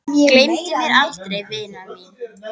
Gleymdu mér aldrei vina mín.